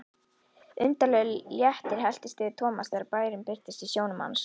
Undarlegur léttir helltist yfir Thomas þegar bærinn birtist sjónum hans.